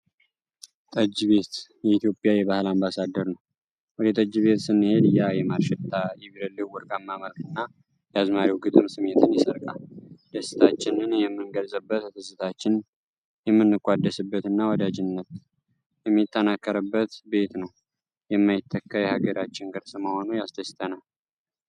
ጠጅ ቤት የኢትዮጵያ የባህል አምባሳደር ነው! ወደ ጠጅ ቤት ስንሄድ ያ የማር ሽታ፣ የቤረሌው ወርቃማ መልክና የአዝማሪው ግጥም ስሜትን ይሰርቃል። ደስታችንን የምንገልጽበት፣ ትዝታችንን የምንቋደስበት እና ወዳጅነት የሚጠናከርበት ቤት ነው። የማይተካ የሀገራችን ቅርስ መሆኑ ያስደስተናል።